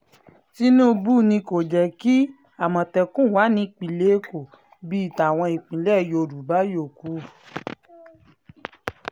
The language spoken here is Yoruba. tinubu ni kò jẹ́ um kí àmọ̀tẹ́kùn wà nípìnlẹ̀ èkó bíi tàwọn ìpínlẹ̀ yorùbá yòókù um